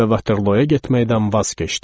Və Vaterloyaya getməkdən vaz keçdim.